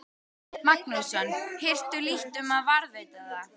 Magnússon, hirtu lítt um að varðveita það.